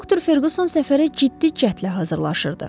Doktor Ferquson səfərə ciddi cəhdlə hazırlaşırdı.